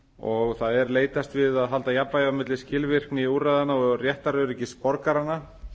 og það er leitast við að halda jafnvægi á milli skilvirkni úrræðanna og réttaröryggis borgaranna